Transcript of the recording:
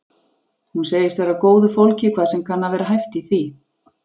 Hún segist vera af góðu fólki hvað sem kann að vera hæft í því.